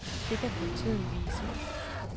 Det kan kun tiden vise.